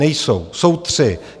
Nejsou, jsou tři.